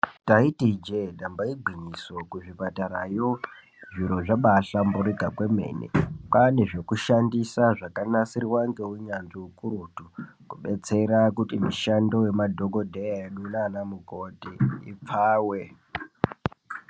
Taiti ijee damba igwinyiso kuzvipatarayo zviro zvabahlamburika kwemene kwaane zvekushandisa zvakanasirwa ngeunyanzvi ukurutu zvekubetsera kuti mishando yemadhokodheya edu nanamukoti ipfawe.